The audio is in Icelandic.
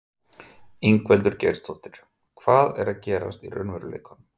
Ingveldur Geirsdóttir: Hvað er að gerast í raunveruleikanum?